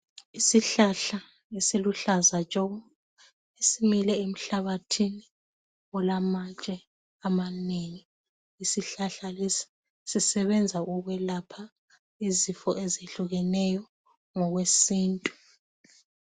Isihlahla esiluhlaza tshoko esimile emhlabathini olamatshe amanengi isihlahla lesi sisebenza ukwelapha izifo ezehlukeneyo ngokwesintu.